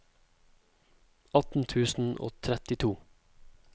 atten tusen og trettito